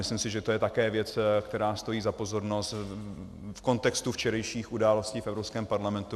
Myslím si, že to je také věc, která stojí za pozornost v kontextu včerejších událostí v Evropském parlamentu.